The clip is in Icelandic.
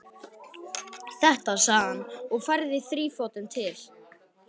Þetta, sagði hann og færði þrífótinn til.